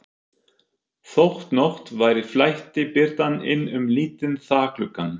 Þótt nótt væri flæddi birtan inn um lítinn þakgluggann.